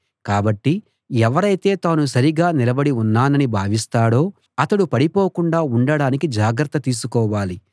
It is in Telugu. కాబట్టి ఎవరైతే తాను సరిగా నిలబడి ఉన్నానని భావిస్తాడో అతడు పడిపోకుండా ఉండడానికి జాగ్రత్త తీసుకోవాలి